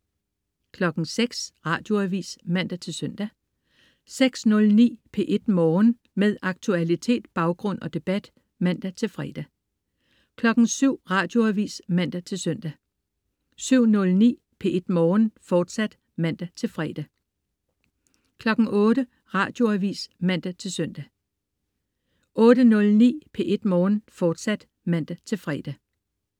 06.00 Radioavis (man-søn) 06.09 P1 Morgen. Med aktualitet, baggrund og debat (man-fre) 07.00 Radioavis (man-søn) 07.09 P1 Morgen, fortsat (man-fre) 08.00 Radioavis (man-søn) 08.09 P1 Morgen, fortsat (man-fre)